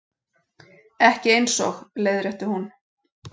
Ekki eins og, leiðrétti hún.